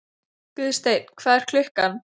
Guðsteinn, hvað er klukkan?